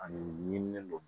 Ani ɲimini don